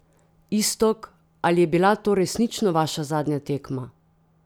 Iztok, ali je bila to resnično vaša zadnja tekma?